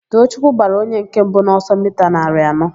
Toochukwu gbara onye nke mbụ n'ọsọ mita narị anọ.